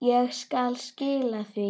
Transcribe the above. Ég skal skila því.